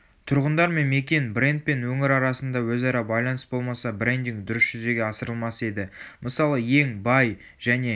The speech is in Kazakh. тұрғындар мен мекен бренд пен өңір арасында өзара байланыс болмаса брендинг дұрыс жүзеге асырылмас еді.мысалы ең бай және